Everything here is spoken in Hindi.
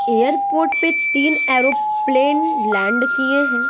एयरपोर्ट पे तीन एरोप्लेन लैंड किए हैं।